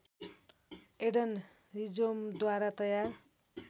Aiden रिजौम्द्वारा तयार